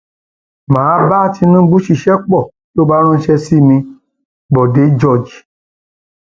mà á bá tinubu ṣiṣẹ pọ tó bá ránṣẹ sí mi còde george